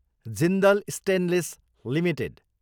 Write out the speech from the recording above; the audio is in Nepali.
Jindal stainless Ltd